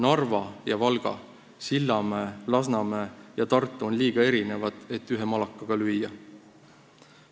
Narva ja Valga, Sillamäe, Lasnamäe ja Tartu on liiga erinevad, et neid ühe malakaga lüüa.